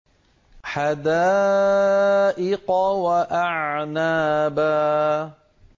حَدَائِقَ وَأَعْنَابًا